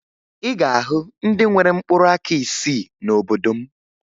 Ị ga-ahụ ndị nwere mkpụrụaka isii n'obodo m